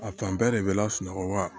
A fan bɛɛ de bɛ lasunɔgɔ wa